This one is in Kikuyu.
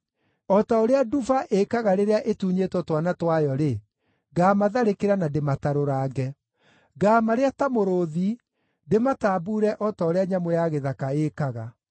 O ta ũrĩa nduba ĩĩkaga rĩrĩa ĩtunyĩtwo twana twayo-rĩ, ngaamatharĩkĩra na ndĩmatarũrange. Ngaamarĩa ta mũrũũthi, ndĩmatambuure o ta ũrĩa nyamũ ya gĩthaka ĩĩkaga.